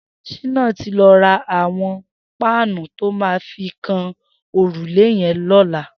Shina ti lọ rà awọn páànù tó mà fi kán órúlé yèn lọlá